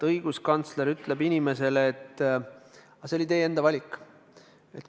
Õiguskantsler ütleb inimesele, et see oli teie enda valik.